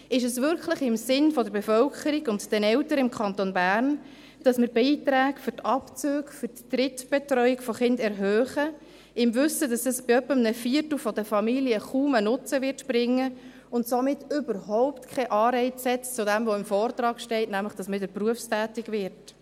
Ist es wirklich im Sinne der Bevölkerung und der Eltern im Kanton Bern, dass wir Beiträge für Abzüge für die Drittbetreuung von Kindern erhöhen, im Wissen, dass dies etwa einem Viertel der Familien kaum einen Nutzen bringen wird und somit überhaupt keinen Anreiz setzt für das, was im Vortrag steht, dass man nämlich wieder berufstätig wird?